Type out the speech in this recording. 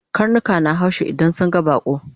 Karnika na haushi idan sun ga baƙo